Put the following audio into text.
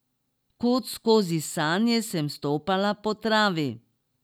Kot skozi sanje sem stopala po travi.